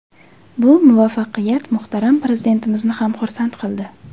Bu muvaffaqiyat muhtaram Prezidentimizni ham xursand qildi.